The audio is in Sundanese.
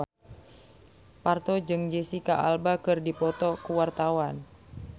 Parto jeung Jesicca Alba keur dipoto ku wartawan